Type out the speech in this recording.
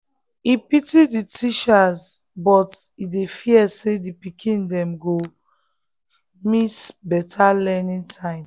e pity the teachers but e dey fear say the pikin dem go pikin dem go miss better learning time.